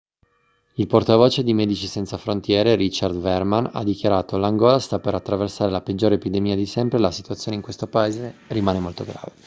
il portavoce di medici senza frontiere richard veerman ha dichiarato l'angola sta per attraversare la peggiore epidemia di sempre e la situazione in questo paese rimane molto grave